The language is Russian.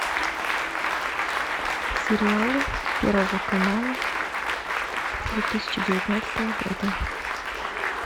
сериалы первого канала две тысячи девятнадцатого года